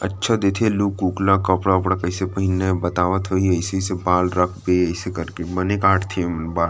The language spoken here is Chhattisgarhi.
अच्छा देखे लुक ऊक कपड़ा उपड़ा कइसे पहिनना हे बतावत होही अइसे-अइसे बाल रखबे अइसे करके बने काटथे एमन बाल--